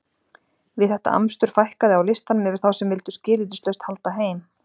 Við þetta amstur fækkaði á listanum yfir þá sem vildu skilyrðislaust halda heim.